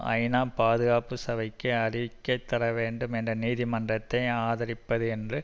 ஐநா பாதுகாப்பு சபைக்கு அறிக்கை தர வேண்டும் என தீர்மானத்தை ஆதரிப்பது என்று